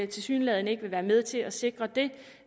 tilsyneladende ikke vil være med til at sikre det